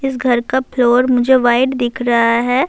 اسس گھر کا فلور مجھے وہاٹے دیکھ رہا ہے-